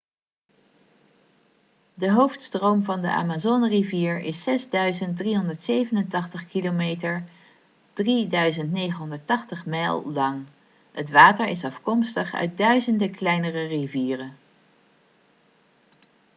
de hoofdstroom van de amazonerivier is 6.387 kilometer 3.980 mijl lang. het water is afkomstig uit duizenden kleinere rivieren